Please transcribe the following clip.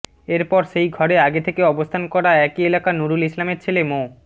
এর পর সেই ঘরে আগে থেকে অবস্থান করা একই এলাকার নূরুল ইসলামের ছেলে মো